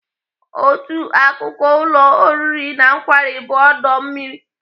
Otu akụkụ ụlọ oriri na nkwari bụ ọdọ mmiri.